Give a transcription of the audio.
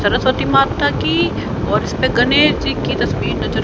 सरस्वती माता की और इसपे गणेश जी तस्वीर नजर--